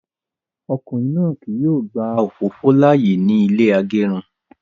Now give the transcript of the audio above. Ọkùnrin náà kí yóò gba òfófó láàyè ní ilé agẹrun